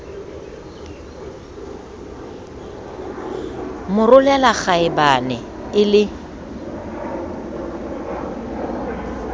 mo rolela kgaebane e le